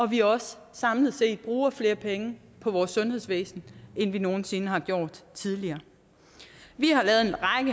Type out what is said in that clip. vi også samlet set bruger flere penge på vores sundhedsvæsen end vi nogen sinde har gjort tidligere vi